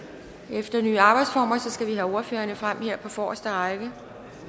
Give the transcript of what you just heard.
efter de nye arbejdsformer skal vi lige have ordførerne frem her på forreste række